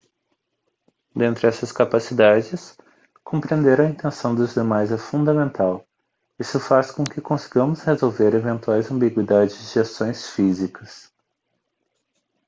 dentre essas capacidades compreender a intenção dos demais é fundamental isso faz com que consigamos resolver eventuais ambiguidades de ações físicas